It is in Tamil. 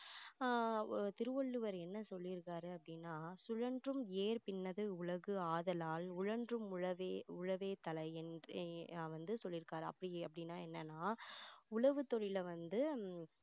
ஆஹ் திருவள்ளுவர் என்ன சொல்லி இருக்காரு அப்படின்னா சுழன்றும் ஏர்ப் பின்னது உலகு ஆதலால் உழன்றும் உழவே உழவே தலை என்று அஹ் வந்து சொல்லிருக்காரு அப்படி~அப்படின்னா என்னன்னா உழவு தொழிலை வந்து